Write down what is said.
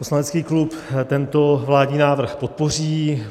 Poslanecký klub tento vládní návrh podpoří.